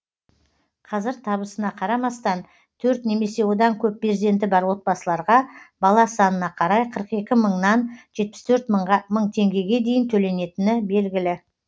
қазір табысына қарамастан төрт немесе одан көп перзенті бар отбасыларға бала санына қарай қырық екі мыңнан жетпіс төрт мың теңгеге дейін төленетіні белгілі